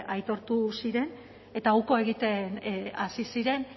aitortu ziren eta uko egiten hasi ziren